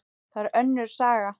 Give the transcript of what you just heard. Það er önnur saga.